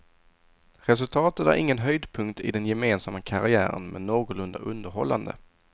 Resultatet är ingen höjdpunkt i den gemensamma karriären men någorlunda underhållande.